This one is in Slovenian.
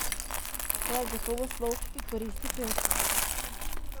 To je gotovo slog, ki koristi pevcu.